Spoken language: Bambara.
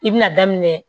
I bɛna daminɛ